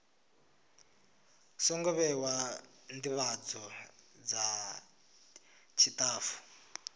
songo vhewa ndivhadzo dza tshitafu